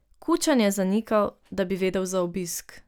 Kučan je zanikal, da bi vedel za obisk.